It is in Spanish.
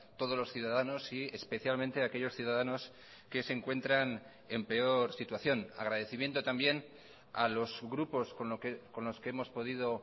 todos los ciudadanos y especialmente a aquellos ciudadanos que se encuentran en peor situación agradecimiento también a los grupos con los que hemos podido o